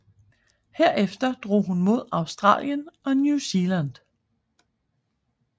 Herefter drog hun mod Australien og New Zealand